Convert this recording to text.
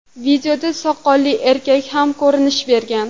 Videoda soqolli erkaklar ham ko‘rinish bergan.